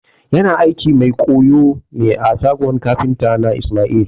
Yana aikin mai ƙoyo ne a shagon kafinta na ismail